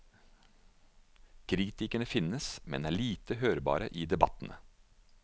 Kritikerne finnes, men er lite hørbare i debattene.